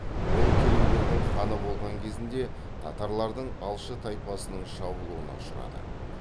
ол керейлердің ханы болған кезінде татарлардың алшы тайпасының шабуылына ұшырады